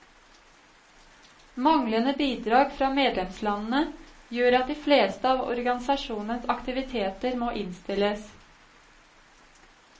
Manglende bidrag fra medlemslandene gjør at de fleste av organisasjonens aktiviteter må innstilles.